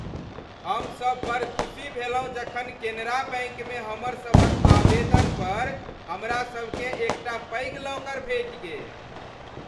हमसभ बड़ खुसी भेलहुँ जखन केनरा बैंकमे हमर सभक आवेदन पर हमरा सबकेँ एकटा पैघ लॉकर भेटि गेल।